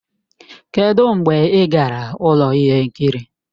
Kedụ mgbe ị gara ụlọ ihe nkiri?